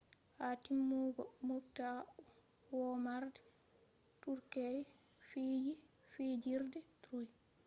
ha timmugo moobta womarde turkey fiji fijirde troy